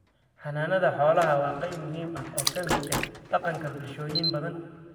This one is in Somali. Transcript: Xanaanada xoolaha waa qayb muhiim ah oo ka mid ah dhaqanka bulshooyin badan.